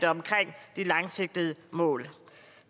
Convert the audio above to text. omkring de langsigtede mål